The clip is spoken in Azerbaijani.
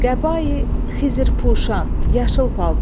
Qəba-i Xizrpuşan, yaşıl paltar.